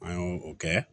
An y'o o kɛ